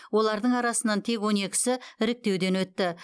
олардың арасынан тек он екісі іріктеуден өтті